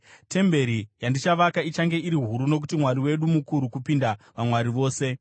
“Temberi yandichavaka ichange iri huru nokuti Mwari wedu mukuru kupinda vamwari vose.